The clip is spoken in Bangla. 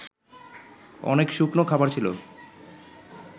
অনেক শুকনো খাবার ছিল